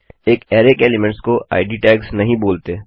एक अरै के एलीमेंट्स को इद tagsटैग्स नहीं बोलते